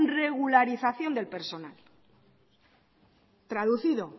regularización del personal traducido